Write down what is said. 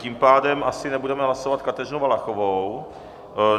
Tím pádem asi nebudeme hlasovat Kateřinu Valachovou.